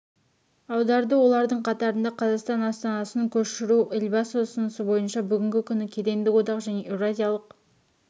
аударды олардың қатарында қазақстан астанасын көшіру елбасы ұсынысы бойынша бүгінгі күні кедендік одақ және еуразиялық